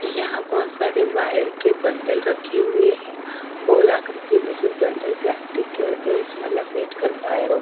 यहाँ बहुत सारे वायर के बंडल रखे हुए हैं गोल आकृति में जो बंडल प्लास्टिक के होते हैं उसमे लपेट कर वायरो --